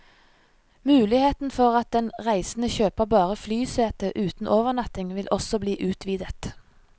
Muligheten for at den reisende kjøper bare flysete uten overnatting vil også bli utvidet.